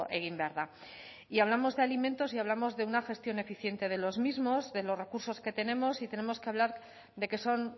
egin behar da y hablamos de alimentos y hablamos de una gestión eficiente de los mismos de los recursos que tenemos y tenemos que hablar de que son